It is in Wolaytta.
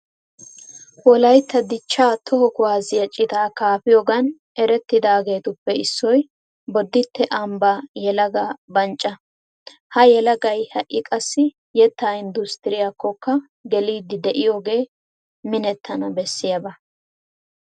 Wolaytta dichchaa toho kuwaasiya citaa kaafiyogan erettiyageetuppe issoy bodditte ambbaa yelagaa bancca. Ha yelagay ha"i qassi yettaa inddustturiyakkokka geliiddi de'iyogee minettana bessiyaba.